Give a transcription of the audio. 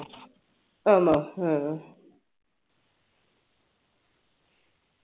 ആണോ ആഹ്ഹ